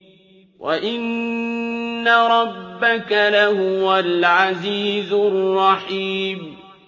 وَإِنَّ رَبَّكَ لَهُوَ الْعَزِيزُ الرَّحِيمُ